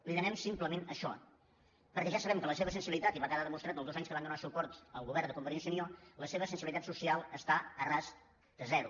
li demanem simplement això perquè ja sabem que la seva sensibilitat i va quedar demostrat els dos anys que van donar suport al govern de convergència i unió la seva sensibilitat social està a ras de zero